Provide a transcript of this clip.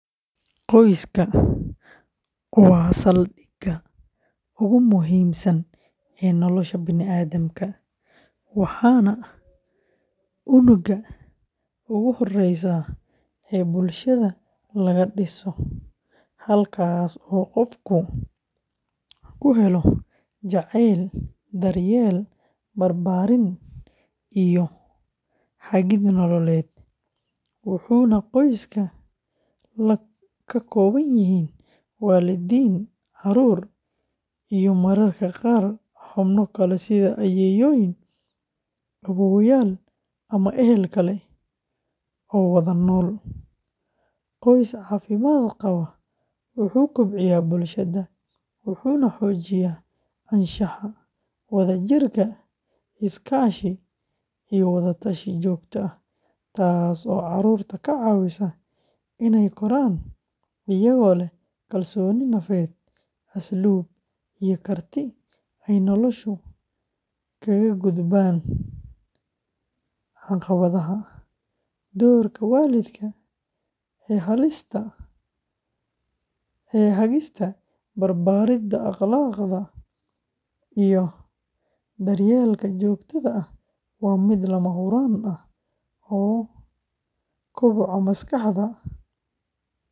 Qoyska waa saldhigga ugu muhiimsan ee nolosha bani’aadamka, waana unugga ugu horreeya ee bulshada laga dhiso, halkaas oo qofku ku helo jacayl, daryeel, barbaarin, iyo hagid nololeed, wuxuuna qoyska ka kooban yahay waalidiin, carruur, iyo mararka qaar xubno kale sida ayeeyooyin, awoowayaal, ama ehel kale oo wada nool; qoys caafimaad qaba wuxuu kobciyaa bulshada, wuxuuna xoojiyaa anshaxa, wadajirka, is-kaashi, iyo wada-tashi joogto ah, taasoo caruurta ka caawisa inay koraan iyagoo leh kalsooni nafeed, asluub, iyo karti ay nolosha kaga gudbaan caqabadaha; doorka waalidka ee hagista, baridda akhlaaqda, iyo daryeelka joogtada ah waa mid lama huraan u ah koboca maskaxda.